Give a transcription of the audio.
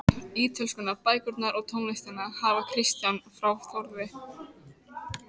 Ítölskuna, bækurnar og tónlistina hafði Kristján frá Þórði